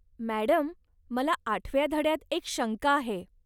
Madam, मला आठव्या धड्यात एक शंका आहे.